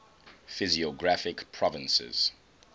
physiographic provinces